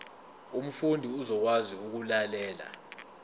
umfundi uzokwazi ukulalela